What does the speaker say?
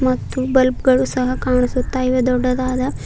ಮತ್ತು ಬಲ್ಬ್ ಗಳು ಸಹ ಕಾಣಿಸುತ್ತಾ ಇವೆ ದೊಡ್ಡದಾದ--